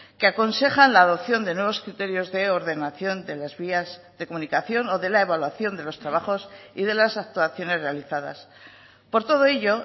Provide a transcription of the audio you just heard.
que aconsejan la adopción de nuevos criterios de ordenación de las vías de comunicación o de la evaluación de los trabajos y de las actuaciones realizadas por todo ello